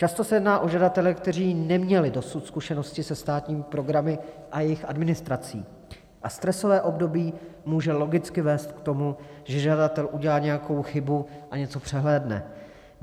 Často se jedná o žadatele, kteří neměli dosud zkušenosti se státními programy a jejich administrací, a stresové období může logicky vést k tomu, že žadatel udělá nějakou chybu a něco přehlédne.